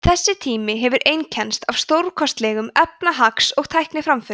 þessi tími hefur einkennst af stórkostlegum efnahags og tækniframförum